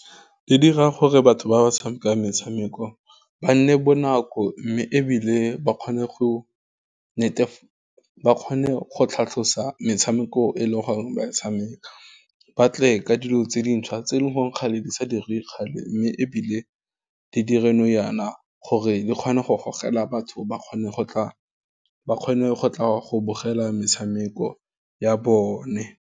Di dira gore batho ba ba tshamekang metshameko, ba nne bonako, mme ebile ba kgone go tlhatlhosa metshameko e leng gore ba tshameka. Batle ka dilo tse dintšhwa tse e leng gore kgale di sa dirwe kgale, mme ebile di dire nou yana gore di kgone go gogela batho ba kgone go tla go bogela metshameko ya bone.